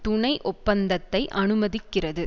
துணை ஒப்பந்தத்தை அனுமதிக்கிறது